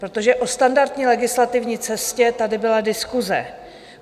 Protože o standardní legislativní cestě tady byla diskuse.